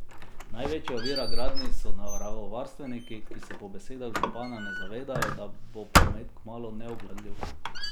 Največja ovira gradnji so naravovarstveniki, ki se po besedah župana ne zavedajo, da bo promet kmalu neobvladljiv.